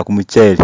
kumuchere